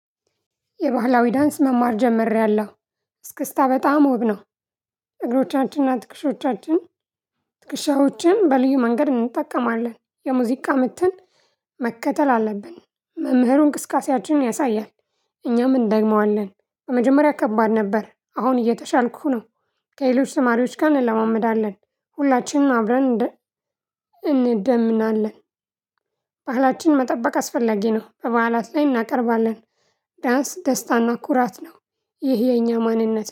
የባህላዊ ዳንስ መማር ጀመርያለሁ እስክስታ በጣም ውብ ነው። እግሮቻችንና ትክሽዎቻችን ትክሻዎችን በልዩ መንገድ እንጠቀማለን የሙዚቃ ምትን። መከተል አለብን መምህሩ እንቅስቃሴያችንን ያሳያል። እኛም እንደግመዋለን በመጀመሪያ ከባድ ነበር አሁን እየተሻልኩህ ነው። ከሌሎች ተማሪዎች ጋር እንለማመዳለን ሁላችንም አብረን እንደ እንደምናለን። ባህላችን መጠበቅ አስፈላጊ ነው። በበዓላት ላይ እናቀርባለን። ዳንስ ደስታና ኩራት ነው። ይህ የኛ ማንነት